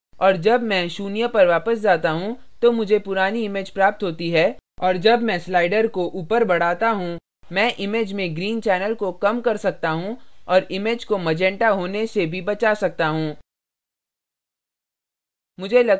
और जब मैं शून्य पर वापस जाता हूँ तो मुझे पुरानी image प्राप्त होती है और जब मैं slider को ऊपर बढ़ाता हूँ मैं image में green channel को कम कर सकता हूँ और image को मैजंटा होने से भी बचा सकता हूँ